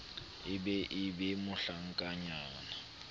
e be e be mohlankanyana